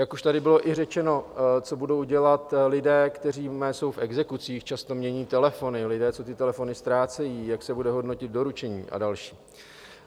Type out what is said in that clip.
Jak už tady bylo i řečeno, co budou dělat lidé, kteří jsou v exekucích, často mění telefony, lidé, co ty telefony ztrácejí, jak se bude hodnotit doručení a další?